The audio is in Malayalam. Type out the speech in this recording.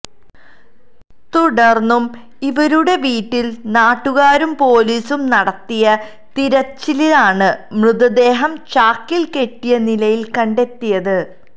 തുടര്ന്നു ഇവരുടെ വീട്ടില് നാട്ടുകാരും പോലീസും നടത്തിയ തിരച്ചിലിലാണു മൃതദേഹം ചാക്കില് കെട്ടിയ നിലയില് കണ്ടെത്തിയത്